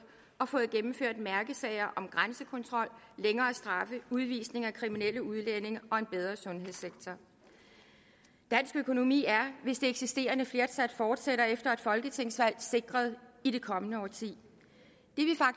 og fået gennemført mærkesager om grænsekontrol længere straffe udvisning af kriminelle udlændinge og en bedre sundhedssektor dansk økonomi er hvis det eksisterende flertal fortsætter efter et folketingsvalg sikret i det kommende årti